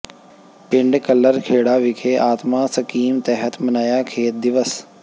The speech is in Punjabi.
ਪਿੰਡ ਕੱਲਰ ਖੇੜਾ ਵਿਖੇ ਆਤਮਾ ਸਕੀਮ ਤਹਿਤ ਮਨਾਇਆ ਖੇਤ ਦਿਵਸ